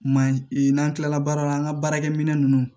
Man ɲi n'an kilala baara la an ka baarakɛminɛ ninnu